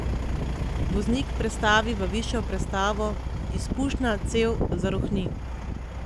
Voznik prestavi v višjo prestavo, izpušna cev zarohni.